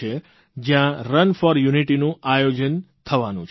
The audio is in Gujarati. જયાં રન ફોર યુનિટીનું આયોજન થવાનું છે